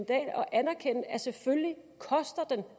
at anerkende at den selvfølgelig koster